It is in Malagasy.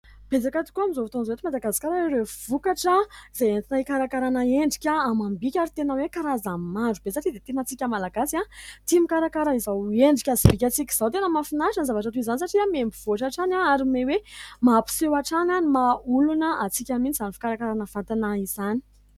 Betsaka tokoa amin'izao fotoana izao eto Madagasikara ireo vokatra izay entina hikarakarana ny endrika amam_bika. Ary tena karazany maro be satria isika Malagasy tia mikarakara izao endrika sy bikantsika izao. Tena mahafinaritra ny zavatra toy izany satria miha mivoatra hatrany ary miha hoe mampiseho hatrany ny mahaolona antsika izany fikarakarana izany.